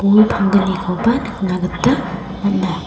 bol panggnikoba nikna gita man·a.